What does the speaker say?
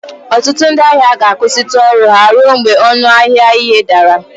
Ọtụtụ ndị ahịa ga-akwụsịtụ ọrụ ha ruo mgbe ọnụ ahịa ihe dara